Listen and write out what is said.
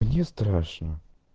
мне страшно